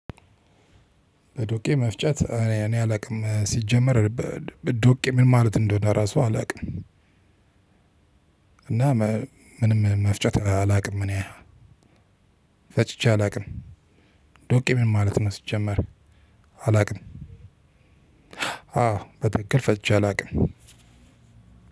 በዶቄ መፍጨት እኔ አላቅም ሲጀመር ዶቄ ምን ማለት እንደሆነ ራሱ አላቅም። እና ምንም መፍጨት አላቅም። እኔ ፈጭቼ አላቅም። ዶቄ ምን ማለት ነው? ሲጀመር አላቅም። አዎ በትክክል ፈጭቼ አላቅም።